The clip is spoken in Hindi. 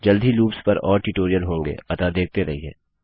जल्द ही लूप्स पर और ट्यूटोरियल्स होंगे अतः देखते रहिये